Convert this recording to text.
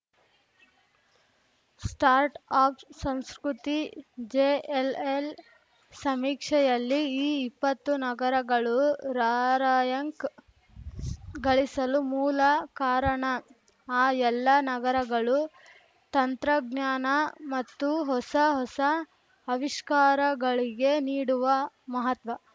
start up ಸಂಸ್ಕೃತಿ JLL ಸಮೀಕ್ಷೆಯಲ್ಲಿ ಈ ಇಪ್ಪತ್ತು ನಗರಗಳು ರಾರ‍ಯಂಕ್‌ ಗಳಿಸಲು ಮೂಲ ಕಾರಣ ಆ ಎಲ್ಲಾ ನಗರಗಳು ತಂತ್ರಜ್ಞಾನ ಮತ್ತು ಹೊಸ ಹೊಸ ಅವಿಷ್ಕಾರಗಳಿಗೆ ನೀಡುವ ಮಹತ್ವ